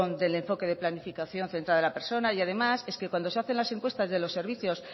del enfoque de planificación centrada en la persona y además es que cuando se hacen las encuestas de los servicios